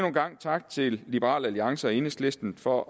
en gang tak til liberal alliance og enhedslisten for